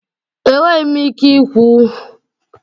Enweghi m ike ikwu.